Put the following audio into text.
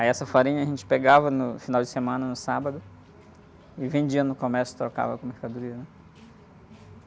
Aí essa farinha a gente pegava no final de semana, no sábado, e vendia no comércio, trocava por mercadoria, né?